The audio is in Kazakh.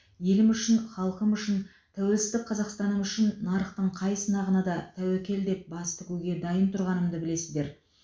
елім үшін халқым үшін тәуелсіздік қазақстаным үшін нарықтың қай сынағына да тәуекел деп бас тігуге дайын тұрғанымды білесіздер